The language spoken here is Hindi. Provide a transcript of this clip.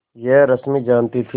यह रश्मि जानती थी